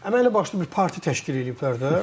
Amma elə başlı bir partiya təşkil eləyiblər də.